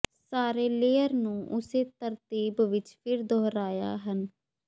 ਸਾਰੇ ਲੇਅਰ ਨੂੰ ਉਸੇ ਤਰਤੀਬ ਵਿੱਚ ਫਿਰ ਦੁਹਰਾਇਆ ਹਨ